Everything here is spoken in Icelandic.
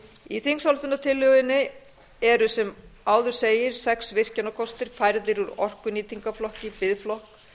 í þingsályktunartillögunni eru sem áður segir sex virkjunarkostir færðir úr orkunýtingarflokki í biðflokk